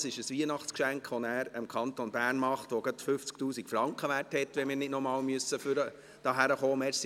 Das ist ein Weihnachtsgeschenk, das er dem Kanton Bern macht, das gerade 50 000 Franken wert ist, wenn wir nicht noch einmal hierhin kommen müssen.